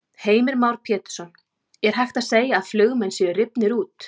Heimir Már Pétursson: Er hægt að segja að flugmenn séu rifnir út?